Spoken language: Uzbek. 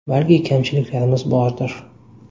Balki, kamchiliklarimiz bordir.